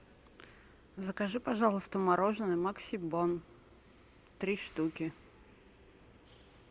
закажи пожалуйста мороженое максибон три штуки